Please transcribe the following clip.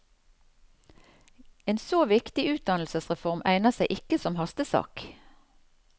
En så viktig utdannelsesreform egner seg ikke som hastesak.